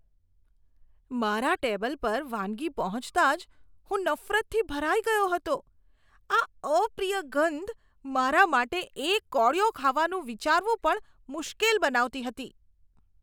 મારા ટેબલ પર વાનગી પહોંચતા જ હું નફરતથી ભરાઈ ગયો હતો. આ અપ્રિય ગંધ મારા માટે એક કોળિયો ખાવાનું વિચારવું પણ મુશ્કેલ બનાવતી હતી.